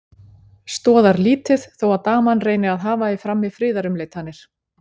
Stoðar lítið þó að daman reyni að hafa í frammi friðarumleitanir.